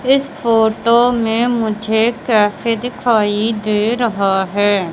इस फोटो में मुझे कैफे दिखाई दे रहा है।